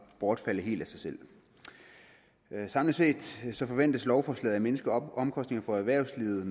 bortfalde helt af sig selv samlet set forventes lovforslaget at mindske omkostningerne for erhvervslivet